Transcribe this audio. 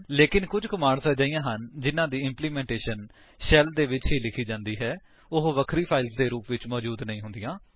ਲੇਕਿਨ ਕੁੱਝ ਕਮਾਂਡਸ ਅਜਿਹੀਆਂ ਹਨ ਜਿਨ੍ਹਾਂ ਦੀ ਇੰਪਲੀਮੈਂਟੇਸ਼ਨ ਸ਼ੈਲ ਦੇ ਵਿੱਚ ਹੀ ਲਿਖੀ ਜਾਂਦੀ ਹੈ ਅਤੇ ਉਹ ਵਖਰੀ ਫਾਇਲਸ ਦੇ ਰੂਪ ਵਿੱਚ ਮੌਜੂਦ ਨਹੀਂ ਹੁੰਦੀਆਂ